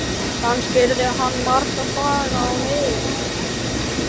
Kannski yrði hann marga daga á leiðinni.